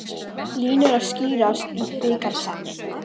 Línur að skýrast í bikarkeppninni